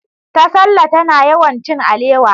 Tasalla tana yawan cin alewa.